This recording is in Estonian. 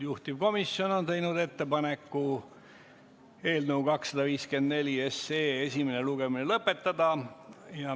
Juhtivkomisjon on teinud ettepaneku eelnõu 254 esimene lugemine lõpetada.